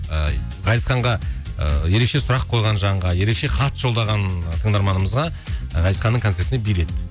ыыы ғазизханға ыыы ерекше сұрақ қойған жанға ерекше хат жолдаған тыңдарманымызға ғазизханның концертіне билет